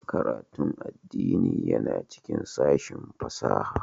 Karatun addini yana cikin sashin fasaha